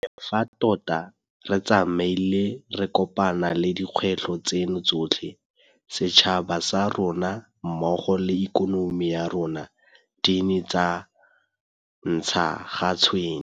Le fa tota re tsamaile re kopana le dikgwetlho tseno tsotlhe, setšhaba sa rona mmogo le ikonomi ya rona di ne tsa ntsha ga tshwene.